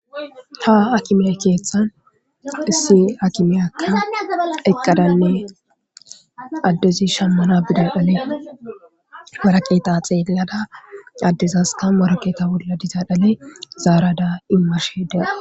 ha akimey keeththan issi akimiyaka eqqadanne addezi shammana bida ole maraqeeta xeellada addezaska marakeeta wolla dizaa dhale zaarada immashe dea